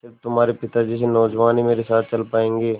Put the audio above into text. स़िर्फ तुम्हारे पिता जैसे नौजवान ही मेरे साथ चल पायेंगे